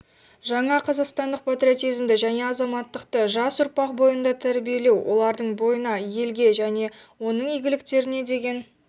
жаңа қазақстандық патриотизмді және азаматтықты жас ұрпақ бойында тәрбиелеу олардың бойына елге және оның игіліктеріне деген